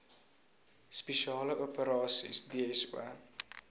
spesiale operasies dso